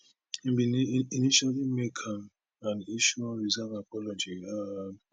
im bin initially make am and issue unreserved apology um